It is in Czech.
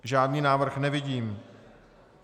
Žádný návrh nevidím.